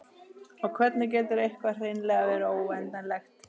og hvernig getur eitthvað hreinlega verið óendanlegt